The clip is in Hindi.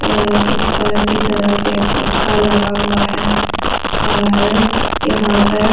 ऐ ऊपर की तरफ एक पंखा लगा हुआ है और यहां पर --